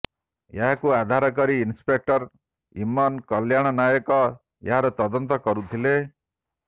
ଏହାକୁ ଆଧାର କରି ଇନ୍ସପେକ୍ଟର ଇମନ କଲ୍ୟାଣ ନାୟକ ଏହାର ତଦନ୍ତ କରୁଥିଲେ